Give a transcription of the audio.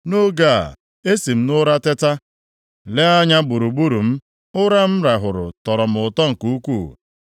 Nʼoge a, esi m nʼụra teta, lee anya gburugburu m. Ụra m rahụrụ tọrọ m ụtọ nke ukwuu.